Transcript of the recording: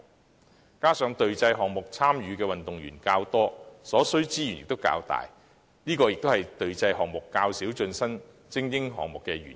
再者，參與隊際項目的運動員較多，所需資源亦較龐大，這也是隊際項目較少成為精英項目的原因。